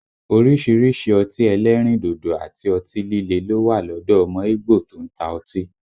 Orísìírísìí ọtí ẹlẹ́rìndòdò àti ọtí líle ló wà lọ́dọ̀ ọmọ ígbò tó ń ta ọtí